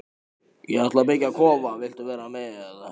Ég ætla að byggja kofa, viltu vera með?